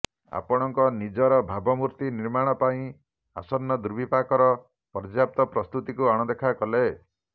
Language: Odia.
ଆପଣଙ୍କ ନିଜର ଭାବମୂର୍ତ୍ତୀ ନିର୍ମାଣ ପାଇଁ ଆସନ୍ନ ଦୁର୍ବିପାକର ପର୍ଯ୍ୟାପ୍ତ ପ୍ରସ୍ତୁତିକୁ ଅଣଦେଖା କଲେ